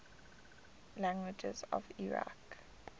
languages of iraq